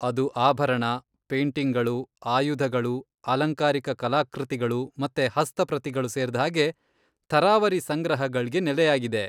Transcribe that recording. ಅದು ಆಭರಣ, ಪೇಟಿಂಗ್ಗಳು, ಆಯುಧಗಳು, ಅಲಂಕಾರಿಕ ಕಲಾಕೃತಿಗಳು ಮತ್ತೆ ಹಸ್ತಪ್ರತಿಗಳು ಸೇರ್ದ್ಹಾಗೆ ಥರಾವರಿ ಸಂಗ್ರಹಗಳ್ಗೆ ನೆಲೆಯಾಗಿದೆ.